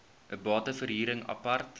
bate verhuring apart